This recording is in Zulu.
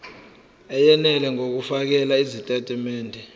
eyenele ngokufakela izitatimende